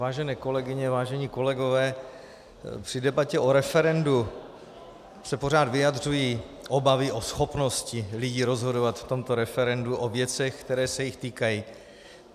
Vážené kolegyně, vážení kolegové, při debatě o referendu se pořád vyjadřují obavy o schopnosti lidí rozhodovat v tomto referendu o věcech, které se jich týkají.